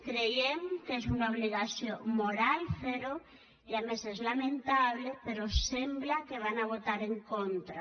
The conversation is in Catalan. creiem que és una obligació moral fer ho i a més és lamentable però sembla que hi votaran en contra